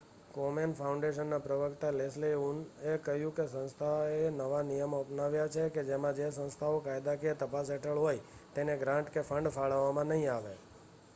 કોમેન ફાઉન્ડેશનના પ્રવક્તા લેસ્લી ઉનએ કહ્યું કે સંસ્થાએ નવા નિયમો અપનાવ્યા છે કે જેમાં જે સંસ્થાઓ કાયદાકીય તપાસ હેઠળ હોય તેને ગ્રાન્ટ કે ફંડ ફાળવવામાં નહી આવે